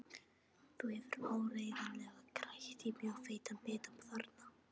Þú hefur áreiðanlega krækt í mjög feitan bita þarna!